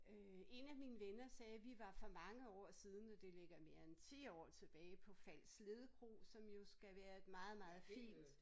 Øh en af mine venner sagde vi var for mange år siden det ligger mere end 10 år tilbage på Falsled Kro som jo skal være et meget meget fint